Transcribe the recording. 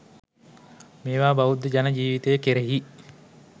මේවා බෞද්ධ ජන ජීවිතය කෙරෙහි